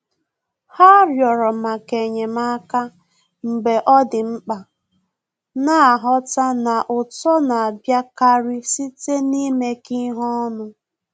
Há rịọ̀rọ̀ màkà ényémáká mgbe ọ́ dị̀ mkpa, nà-àghọ́tá na uto nà-àbíákárí site n’ímékọ́ ihe ọnụ.